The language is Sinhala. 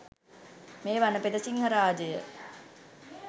මේ වනපෙත සිංහරාජය